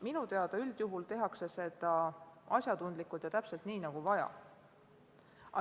Minu teada tehakse seda üldjuhul asjatundlikult ja täpselt nii, nagu vaja.